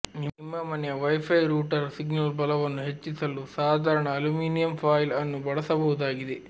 ನಿಮ್ಮ ಮನೆಯ wifi router signal ಬಲವನ್ನು ಹೆಚ್ಚಿಸಲು ಸಾಧಾರಣ ಅಲ್ಯುಮಿನಿಯಮ್ ಫಾಯಿಲ್ ಅನ್ನು ಬಳಸಬಹುದಾಗಿದೆ